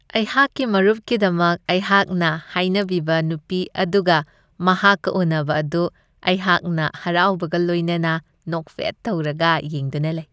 ꯑꯩꯍꯥꯛꯀꯤ ꯃꯔꯨꯞꯀꯤꯗꯃꯛ ꯑꯩꯍꯥꯛꯅ ꯍꯥꯏꯅꯕꯤꯕ ꯅꯨꯄꯤ ꯑꯗꯨꯒ ꯃꯍꯥꯛꯀ ꯎꯟꯅꯕ ꯑꯗꯨ ꯑꯩꯍꯥꯛꯅ ꯍꯔꯥꯎꯕꯒ ꯂꯣꯏꯅꯅ ꯅꯣꯛꯐꯦꯠ ꯇꯧꯔꯒ ꯌꯦꯡꯗꯨꯅ ꯂꯩ ꯫